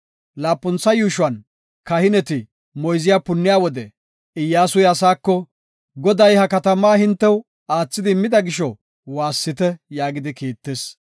Laapuntha yuushuwan, kahineti moyze punniya wode, Iyyasuy asaako, “Goday ha katamaa hintew aathidi immida gisho, waassite” yaagidi kiittis.